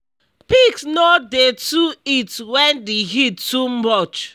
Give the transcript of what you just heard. pigs no dey too eat wen d heat too much